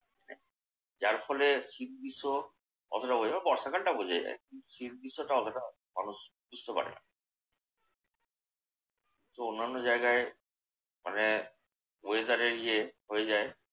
যার ফলে শীত গ্রীষ্ম অতটা বর্ষাকালটা বোঝা যায়। শীত গ্রীষ্ম অতটা মানুষ বুঝতে পারে না। তো অন্যান্য জায়গায় মানে weather এর ইয়ে হয়ে যায়